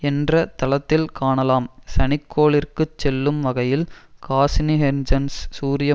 என்ற தளத்தில்காணலாம் சனிக்கோளிற்குச் செல்லும் வகையில் காசினிஹைன்ஜென்ஸ் சூரிய